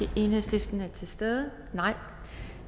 enhedslisten er til stede